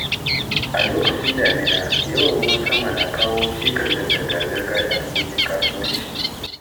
A lokacin damina, yawan ruwan sama na kawo cikas ga zirga-zirga da harkokin kasuwanci.